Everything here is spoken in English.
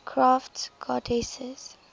crafts goddesses